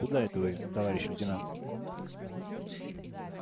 куда это вы товарищ лейтенант